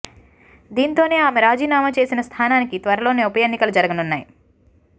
దీంతోనే ఆమె రాజీనామా చేసిన స్థానానికి త్వరలోనే ఉప ఎన్నికలు జరగనున్నాయి